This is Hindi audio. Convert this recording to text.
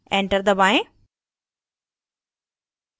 enter दबाएं